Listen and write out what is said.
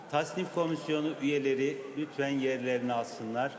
Təsnifat komissiyasının üzvləri zəhmət olmasa yerlərini tutsunlar.